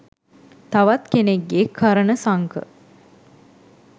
තවත් කෙනෙක්ගෙ කර්ණ සංඛ